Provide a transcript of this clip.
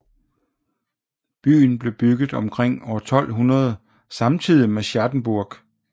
Byen blev bygget omkring 1200 samtidigt med Schattenburg